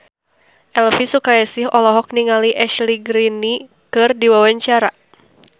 Elvi Sukaesih olohok ningali Ashley Greene keur diwawancara